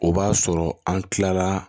O b'a sɔrɔ an kilala